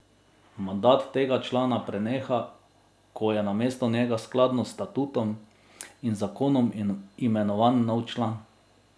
Mandat tega člana preneha, ko je namesto njega skladno s statutom in zakonom imenovan nov član.